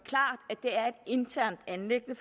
internt anliggende